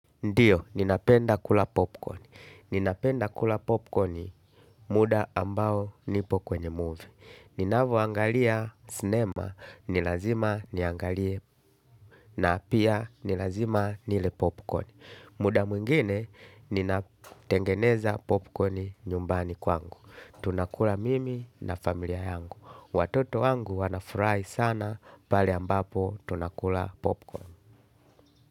Ndio, ninapenda kula popcorn. Ninapenda kula popcorn muda ambao nipo kwenye movie. Ninavyo angalia sinema, ni lazima niangalie na pia ni lazima nile popcorn. Muda mwingine, ninatengeneza popcorn nyumbani kwangu. Tunakula mimi na familia yangu. Watoto wangu wana furahi sana pale ambapo tunakula popcorn.